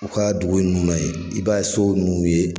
U ka dugu in nunnu na ye i b'a so ninnu ye.